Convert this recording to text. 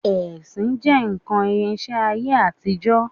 Ẹṣin jẹ́ nǹkan ìrìnsẹ̀ ayé àtijọ́